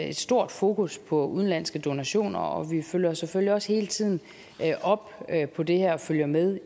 et stort fokus på udenlandske donationer og vi følger selvfølgelig også hele tiden op på det her og følger med